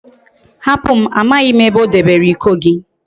Hapum! Amaghim ebe odebere Iko gi